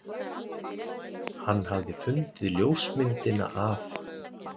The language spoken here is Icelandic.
Hann hafði fundið ljósmyndina af